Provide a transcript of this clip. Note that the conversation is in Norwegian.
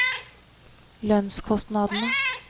lønnskostnadene